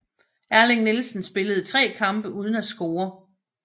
Erling Nielsen spillede tre kampe uden at score